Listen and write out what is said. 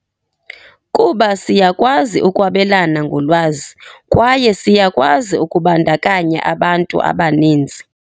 "Kuba siyakwazi ukwabelana ngolwazi, kwaye siyakwazi ukubandakanya abantu abaninzi."